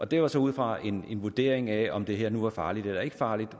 det var så ud fra en vurdering af om det her var farligt eller ikke farligt